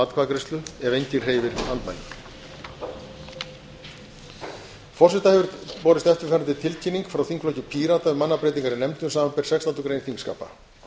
atkvæðagreiðslu ef enginn hreyfir andmælum forseta hefur borist eftirfarandi tilkynning frá þingflokki pírata um mannabreytingar í nefndum þingsins samanber sextándu grein þingskapa